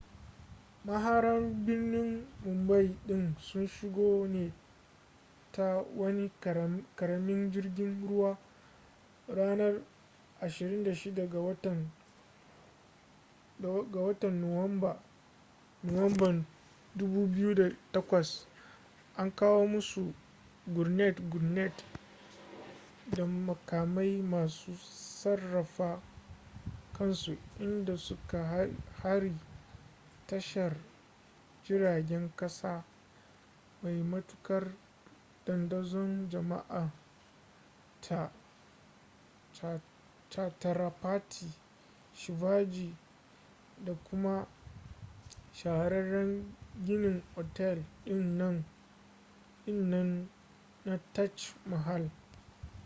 maharan birnin mumbai din sun shigo ne ta wani karamin jirgin ruwa ranar 26 ga watan nuwamban 2008 an kawo musu gurnet-gurnet da makamai masu sarrafa kansu inda suka hari tashar jiragen kasa mai matukar dandazon jama'a ta chhatrapati shivaji da kuma shahararren ginin otel din nan na taj mahal